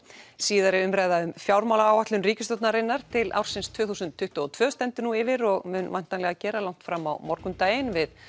síðari umræða um fjármálaáætlun ríkisstjórnarinnar til ársins tvö þúsund tuttugu og tvö stendur nú yfir og mun væntanlega gera langt fram á morgundaginn við